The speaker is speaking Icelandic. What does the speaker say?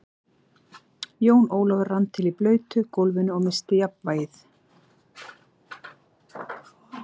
Jón Ólafur rann til á blautu gólfinu og missti jafnvlgið.